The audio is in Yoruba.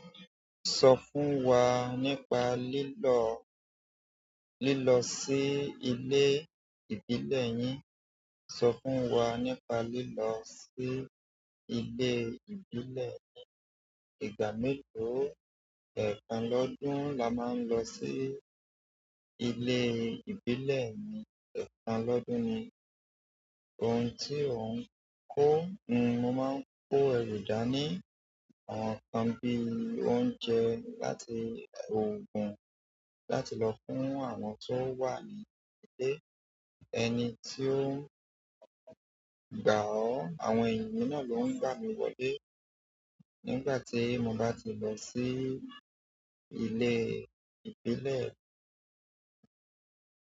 Sọ fún wa nípa lílọ, lílọ sí ile ìbílẹ̀ yín. Sọ fún wa nípa lílọ sí ilé ìbílẹ̀ yín. Ìgbà melo, ẹ̀kan lọ́dún la máa ń lọ sí ilé ìbílẹ̀ mi, ẹ̀kan lọ́dún ni. Ohun tí ò ń kó, n-mó máa ń kó èròjà ní àwọn nǹkan bí i oúnjẹ láti òògùn, láti lọ fún àwọn tó wà ní ilé. Ẹni tí ó ń gba ọ́, àwọn ènìyàn náà ló ń gba mi wọlé nígbà tí mo bá ti lọ sí ilé ìbílẹ̀.